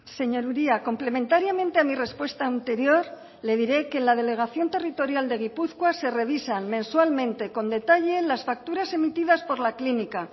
señor uria complementariamente a mi respuesta anterior le diré que en la delegación territorial de gipuzkoa se revisan mensualmente con detalle las facturas emitidas por la clínica